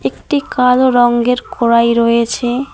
একটি কালো রঙ্গের কড়াই রয়েছে।